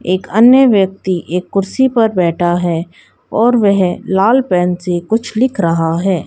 एक अन्य व्यक्ति एक कुर्सी पर बैठा है और वह लाल पेन से कुछ लिख रहा है।